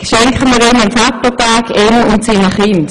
Schenken wir ihm und seinen Kindern einen Vater-Tag pro Woche!